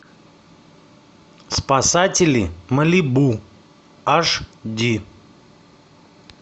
спасатели малибу аш ди